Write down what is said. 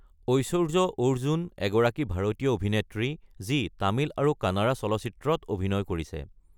ঐশ্বৰ্য অৰ্জুন এগৰাকী ভাৰতীয় অভিনেত্ৰী যিয়ে তামিল আৰু কানাড়া চলচ্চিত্ৰত অভিনয় কৰিছে।